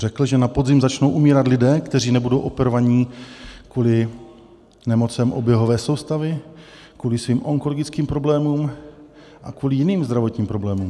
Řekl, že na podzim začnou umírat lidé, kteří nebudou operovaní kvůli nemocem oběhové soustavy, kvůli svým onkologickým problémům a kvůli jiným zdravotním problémům.